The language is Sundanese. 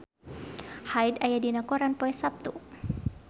Hyde aya dina koran poe Saptu